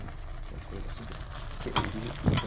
Foi uma coisa assim que eu falei, o que é isso?